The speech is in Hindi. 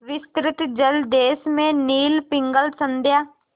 विस्तृत जलदेश में नील पिंगल संध्या